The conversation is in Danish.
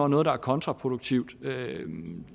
noget der er kontraproduktivt